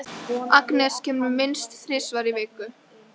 Agnes kemur minnst þrisvar í viku.